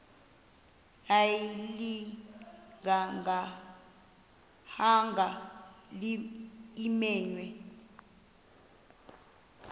ayilinga gaahanga imenywe